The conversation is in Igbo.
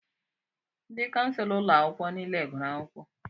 Ndị kànselọ ụlọ akwụkwọ niile gụrụ akwụkwọ